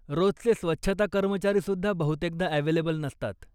रोजचे स्वच्छता कर्मचारीसुद्धा बहुतेकदा अव्हेलेबल नसतात.